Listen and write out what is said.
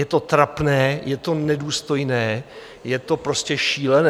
Je to trapné, je to nedůstojné, je to prostě šílené.